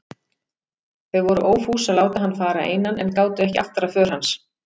Þau voru ófús að láta hann fara einan en gátu ekki aftrað för hans.